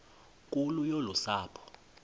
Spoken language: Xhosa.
nkulu yolu sapho